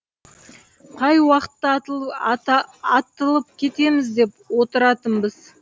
қай уақытта атылып кетеміз деп отыратынбыз